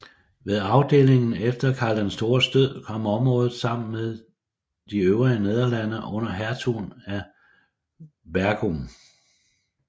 Ved arvedelingen efter Karl den Stores død kom området sammen med de øvrige Nederlande under hertugen af Burgund